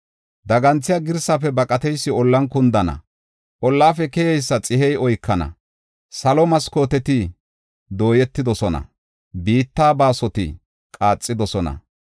Daganthiya girsaafe baqateysi ollan kundana; ollafe keyeysa xihey oykana; salo maskooteti dooyetidosona; biitta baasoti qaaxidosona.